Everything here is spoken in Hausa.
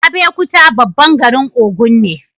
Abeokuta babban garin Ogun ne